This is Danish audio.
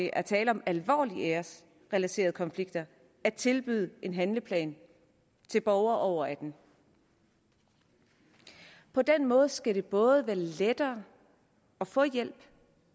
er tale om alvorlige æresrelaterede konflikter at tilbyde en handleplan til borgere over atten år på den måde skal det både være lettere at få hjælp